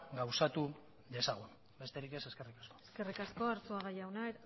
gauzatu dezagun besterik ez eskerrik asko eskerrik asko arzuaga jauna